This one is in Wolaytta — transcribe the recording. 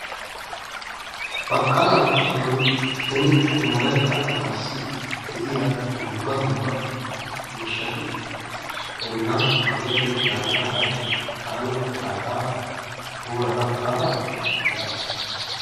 Baqallanttasoon beni wolaytta asaassi de'iyaa dumma dumma miishshati bollaan kaqetti uttidaageta haachchi taani etaagaa guurara baada be'aas.